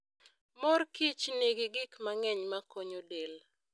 Mor kich nigi gik mang'eny makonyo del.